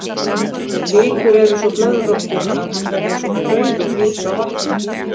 Vikur er svo blöðróttur að hann verður eins og frauð og flýtur á vatni.